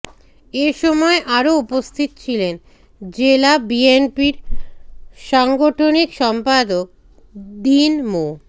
এ সময় আরো উপস্থিত ছিলেন জেলা বিএনপির সাংগঠনিক সম্পাদক দীন মো